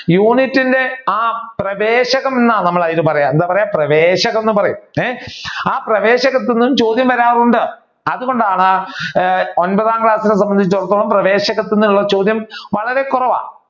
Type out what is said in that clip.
യൂണിറ്റിന്റെ ആ പ്രവേശകം എന്നാണ് നമ്മൾ അതിനെ പറയുക എന്താ പറയുക പ്രവേശകം എന്ന് പറയും ആ പ്രവേശകത്തു നിന്നും ചോദ്യം വരാർ ഉണ്ട് അതുകൊണ്ടാണ് ഒൻപതാം ക്ലാസ്സിനെ സംബന്ധിച്ചു അടുത്തോളം പ്രവേശകത്തു നിന്നുള്ള ചോദ്യം വളരെ കുറവാണ്.